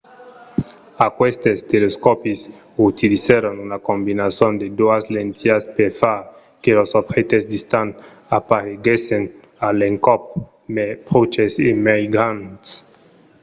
aquestes telescòpis utilizèron una combinason de doas lentilhas per far que los objèctes distants apareguèssen a l'encòp mai pròches e mai grands